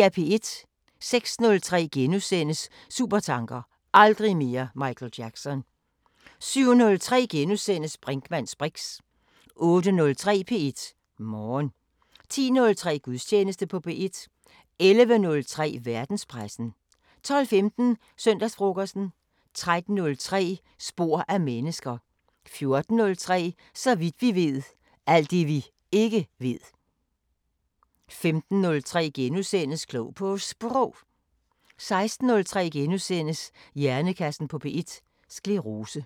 06:03: Supertanker: Aldrig mere Michael Jackson * 07:03: Brinkmanns briks * 08:03: P1 Morgen 10:03: Gudstjeneste på P1 11:03: Verdenspressen 12:15: Søndagsfrokosten 13:03: Spor af mennesket 14:03: Så vidt vi ved: Alt det vi ikke ved 15:03: Klog på Sprog * 16:03: Hjernekassen på P1: Sclerose *